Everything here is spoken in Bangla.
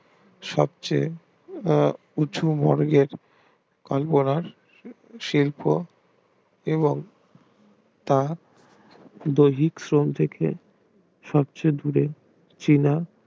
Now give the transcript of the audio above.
সবচেয়ে উঁচু মর্গের অন্তরাল শিল্প এবং তা দৈহিক শ্রম থেকে সবচেয়ে দূরে চীনা